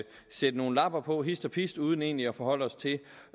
sætte nogle lapper på hist og pist uden egentlig at forholde os til